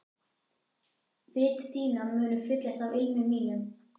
Vit þín munu fyllast af ilmi mínum.